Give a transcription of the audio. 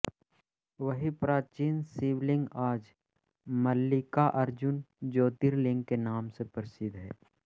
वही प्राचीन शिवलिंग आज मल्लिकार्जुन ज्योतिर्लिंग के नाम से प्रसिद्ध है